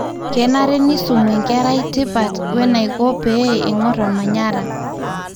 kenare nisumu enkera tipat wenaiko pee ingorr omanyara